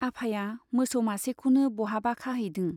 आफाया मोसौ मासेखौनो बहाबा खाहैदों।